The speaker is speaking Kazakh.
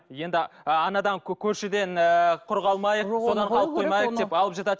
енді ы анадан көршіден ыыы құр қалмайық содан қалып қоймайық деп алып жатады